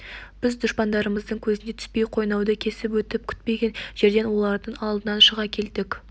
біз дұшпандарымыздың көзіне түспей қойнауды кесіп өтіп күтпеген жерден олардың алдынан шыға келдік